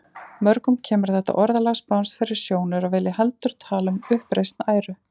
Mörgum kemur þetta orðalag spánskt fyrir sjónir og vilja heldur tala um uppreisn æru.